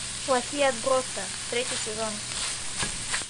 плохие отбросы третий сезон